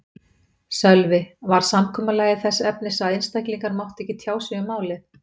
Sölvi: Var samkomulagið þess efnis að einstaklingar máttu ekki tjá sig um málið?